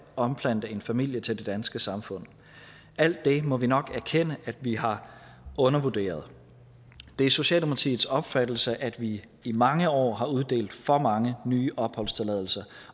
omplante en familie til det danske samfund alt det må vi nok erkende at vi har undervurderet det er socialdemokratiets opfattelse at vi i mange år har uddelt for mange nye opholdstilladelser